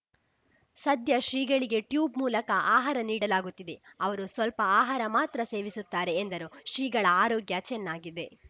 ಸದ್ಯ ಶ್ರೀಗಳಿಗೆ ಟ್ಯೂಬ್‌ ಮೂಲಕ ಆಹಾರ ನೀಡಲಾಗುತ್ತಿದೆ ಅವರು ಸ್ವಲ್ಪ ಆಹಾರ ಮಾತ್ರ ಸೇವಿಸುತ್ತಾರೆ ಎಂದರು ಶ್ರೀಗಳ ಆರೋಗ್ಯ ಚೆನ್ನಾಗಿದೆ